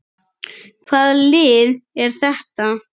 Hvaða lið er þetta?